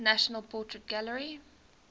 national portrait gallery